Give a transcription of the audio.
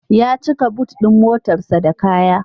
Ya cika but ɗin motarsa da kaya.